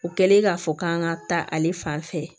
O kɛlen k'a fɔ k'an ka taa ale fan fɛ